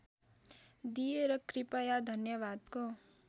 दिएर कृपया धन्यवादको